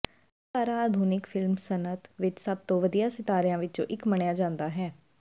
ਅਦਾਕਾਰਾ ਆਧੁਨਿਕ ਫਿਲਮ ਸਨਅਤ ਵਿੱਚ ਸਭ ਤੋਂ ਵਧੀਆ ਸਿਤਾਰਿਆਂ ਵਿੱਚੋਂ ਇੱਕ ਮੰਨਿਆ ਜਾਂਦਾ ਹੈ